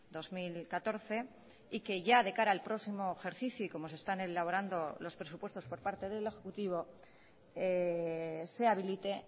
dos mil catorce y que ya de cara al próximo ejercicio y como se están elaborando los presupuestos por parte del ejecutivo se habilite